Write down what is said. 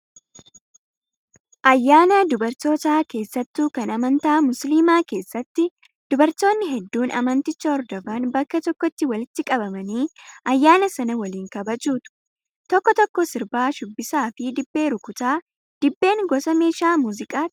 Ayyaana dubartootaa keessattuu kan amantaa musliimaa keessatti dubartoonni hedduun amanticha hordofan bakka tokkotti walitti qabamanii ayyaana sana waliin kabajatu. Tokko tokko sirbaa, shubbisaa fi dibbee rukutaa. Dibbeen gosa meeshaa muuziqaatii?